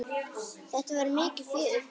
Þetta var mikið fjör.